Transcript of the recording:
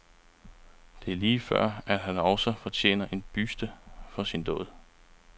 Det er lige før, at han også fortjener en buste for sin dåd.